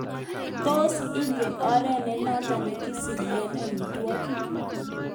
Tos igen oret nenoton nekisibi eng omitwo'kik?